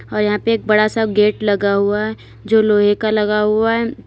यहां पे एक बड़ा सा गेट लगा हुआ है जो लोहे का लगा हुआ है।